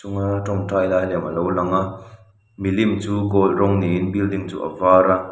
tawngtai lai lem alo langa milim chu gold rawng niin building chu a var a.